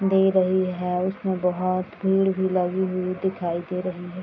दे रही है उसमे बहोत भीड़ भी लगी हुई दिखाई दे रही है।